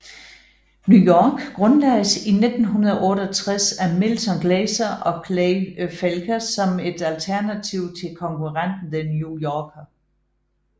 New York grundlagdes i 1968 af Milton Glaser og Clay Felker som et alternativ til konkurrenten The New Yorker